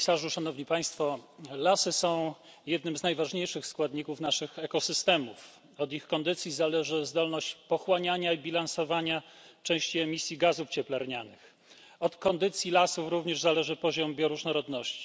Panie Komisarzu! Szanowni Państwo! Lasy są jednym z najważniejszych składników naszych ekosystemów. Od ich kondycji zależy zdolność pochłaniania i bilansowania części emisji gazów cieplarnianych. Od kondycji lasów zależy również poziom bioróżnorodności.